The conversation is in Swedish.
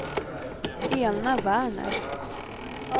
Elna Werner